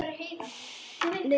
Ungur í útgerð